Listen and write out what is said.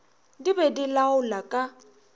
di be di laola ka